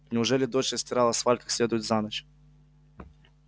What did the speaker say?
неужели дождь отстирал асфальт как следует за ночь